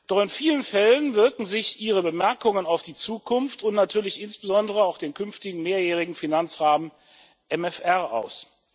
Doch in vielen Fällen wirken sich Ihre Bemerkungen auf die Zukunft und natürlich insbesondere auch den künftigen mehrjährigen Finanzrahmen aus.